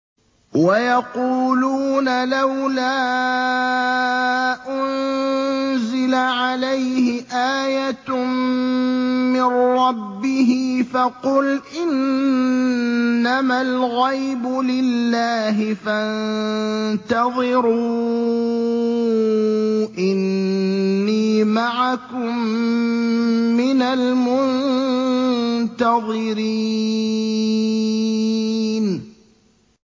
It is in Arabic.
وَيَقُولُونَ لَوْلَا أُنزِلَ عَلَيْهِ آيَةٌ مِّن رَّبِّهِ ۖ فَقُلْ إِنَّمَا الْغَيْبُ لِلَّهِ فَانتَظِرُوا إِنِّي مَعَكُم مِّنَ الْمُنتَظِرِينَ